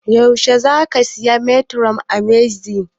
Yaushe zaka saya metformin a h-medix?